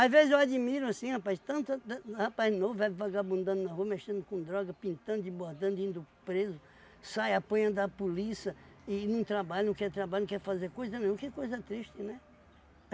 vezes eu admiro, assim, rapaz, tanto... De rapaz novo, vagabundando na rua, mexendo com droga, pintando e bordando, indo preso, sai apanha da polícia e não trabalha, não quer trabalhar, não quer fazer coisa nenhuma, que coisa triste, né?